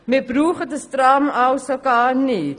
Also benötigen wir dieses Tram gar nicht.